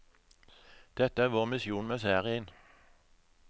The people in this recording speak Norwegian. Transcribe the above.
Dette er vår misjon med serien.